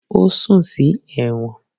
Ó sùn sí ẹ̀wọ̀n